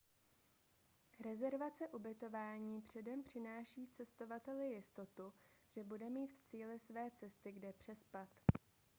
rezervace ubytování předem přináší cestovateli jistotu že bude mít v cíli své cesty kde přespat